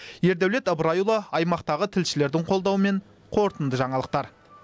ердәулет ыбырайұлы аймақтағы тілшілердің қолдауымен қорытынды жаңалықтар